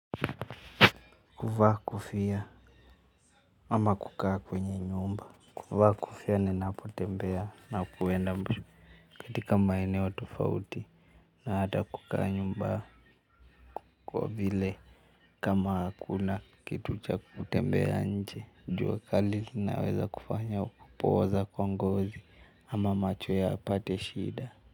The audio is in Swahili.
Kuvaa kofia ama kukaa kwenye nyumba. Kuvaa kofia ninapotembea na kuenda mbushu katika maeneo tofauti na hata kukaa nyumba. Kwa vile kama kuna kitu cha kutembea nje, jua kali inaweza kufanya kupooza kwa ngozi. Ama macho yapate shida.